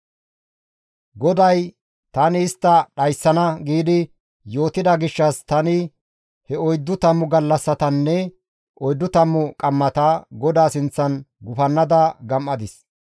GODAY, «Tani istta dhayssana» giidi yootida gishshas tani he oyddu tammu gallassatanne oyddu tammu qammata GODAA sinththan gufannada gam7adis.